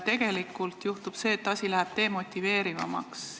Tegelikult juhtub see, et süsteem läheb demotiveerivamaks.